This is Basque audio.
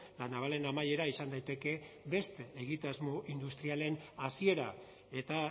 la navalen amaiera izan daiteke beste egitasmo industrialen hasiera eta